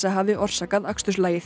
hafi orsakað